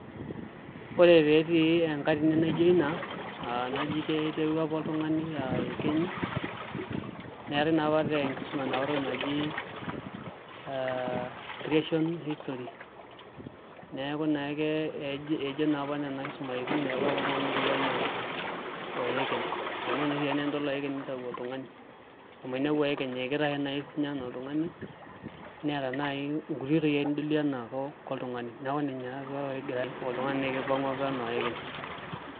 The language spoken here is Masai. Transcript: Ore pee etii enkatini naa ijio ina aa keji iterua apa oltung'ani aa iyekenyi neetai naa tenkisuma enapatoki naji aa creation history neeku naa ejo apa nena kisumaitin ore apa oltung'ani netiu enaa oekeny amu oshi ake enidol oekeny nitau oltung'ani amu eninepu oekeny ekitashe ake naai siinye enaa oltung'ani neeta naai nkuti oitoi nidoliie enaa oltung'ani neeku ninye apa pee egira ore oltung'ani naa kipang'ua apa enaa oekeny.